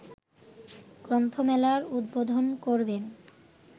গ্রন্থমেলার উদ্বোধন করবেন